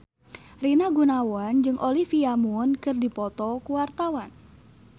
Rina Gunawan jeung Olivia Munn keur dipoto ku wartawan